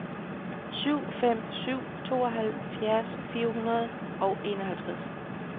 syv fem syv fem tooghalvfjerds fire hundrede og enoghalvtreds